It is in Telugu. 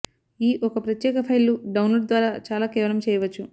ఈ ఒక ప్రత్యేక ఫైలు డౌన్లోడ్ ద్వారా చాలా కేవలం చేయవచ్చు